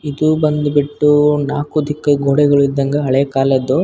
‌ ಇದು ಬಂದುಬಿಟ್ಟು ನಾಕು ದಿಕ್ಕಿದ್ ಗೋಡೆಗಳ್ಳಿದ್ದಂಗೆ ಹಳೆ ಕಾಲದ್ದ .